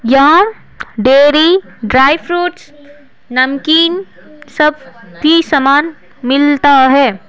यहां dairy dry fruits नमकीन सब भी सामान मिलता है।